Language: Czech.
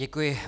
Děkuji.